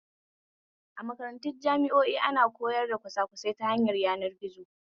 A makarantun jami'o'i ana koyar kwasakwasai ta hanyar yanar gizo